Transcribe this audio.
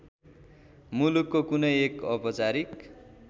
मुलुकको कुनै एक औपचारिक